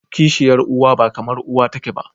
kishiyar uwa ba kamar uwa take ba.